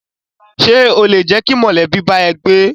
Ṣé o lè jẹ́ kí mọ̀lẹ́bí bá ẹ gbé?